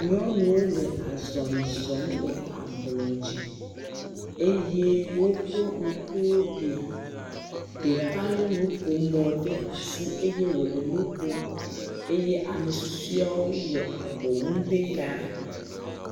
Nyɔnuwo le azɔli zɔm le ablɔ dzi eye woƒe ŋkuwo bia, ɖeka lé nuƒomɔ ɖe asi eye wòle nu ƒom eye ame susuewo le abɔ wum ɖe yame.